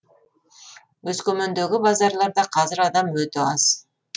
өскемендегі базарларда қазір адам өте аз